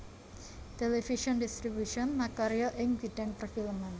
Television Distribution makarya ing bidhang perfilman